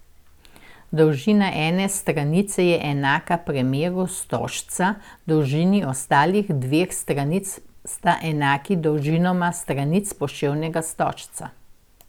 Dolžina ene stranice je enaka premeru stožca, dolžini ostalih dveh stranic sta enaki dolžinama stranic poševnega stožca.